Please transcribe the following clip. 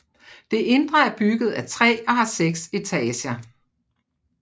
Det indre er bygget af træ og har seks etager